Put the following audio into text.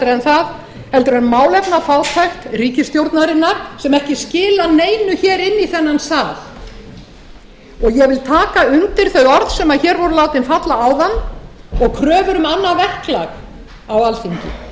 en málefnafátækt ríkisstjórnarinnar sem ekki skilar neinu hér inn í þennan sal ég vil taka undir þau orð sem hér voru látin falla áðan og kröfur um annað verklag á alþingi